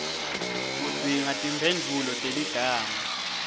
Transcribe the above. udzinga timphendvulo teligama